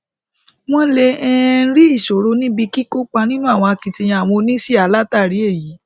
wọn lè um rí ìṣòro níbi kíkópa nínú akitiyan àwọn oníṣíà látàrí èyí